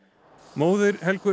móðir Helgu